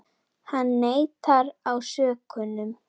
Hann neitar ásökunum